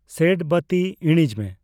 ᱥᱮᱰ ᱵᱟᱹᱛᱤ ᱤᱲᱤᱡᱽ ᱢᱮ